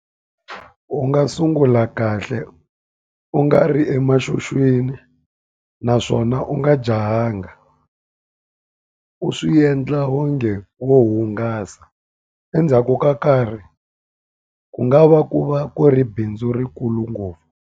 U nga sungula kahle u nga ri naswona u nga jahanga. U swi endla onge wo hungasa. Endzhaku ka karhi, ku nga va ku va ku ri bindzu ri kulu ngopfu.